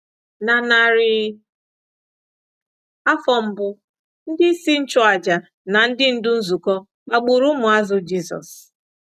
Na narị afọ mbụ, ndị isi nchụàjà na ndị ndú nzukọ kpagburu ụmụazụ Jizọs.